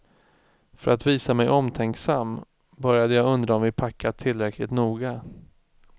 För att visa mig omtänksam, började jag undra om vi packat tillräckligt noga.